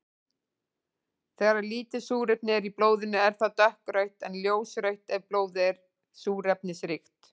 Þegar lítið súrefni er í blóðinu er það dökkrautt en ljósrautt ef blóðið er súrefnisríkt.